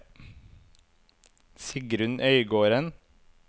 Sigrun Øygarden